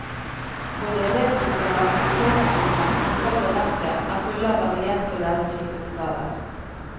Både elevboken og aktivitetsboken, som følger verket, er fulle av varierte og lærerike oppgaver.